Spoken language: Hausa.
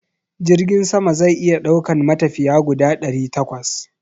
Jirgin sama zai iya daukan matafiya guda ɗari takwas